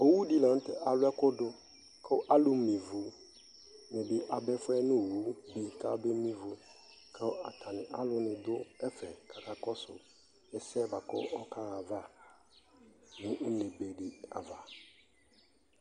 ɔwʋ di lantɛ alʋ ɛkʋ, kʋ alʋ mè ivʋ dini aba ɛƒʋɛ nʋ ɔwʋ kʋ abɛ mè ivʋ kʋ alʋ nidʋ ɛƒɛ kʋ akakɔsʋ ɛsɛ bʋakʋ ɔkaha aɣa nʋ ʋnɛ bɛ di aɣa